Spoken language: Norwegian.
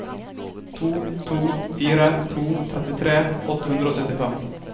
to to fire to trettitre åtte hundre og syttifem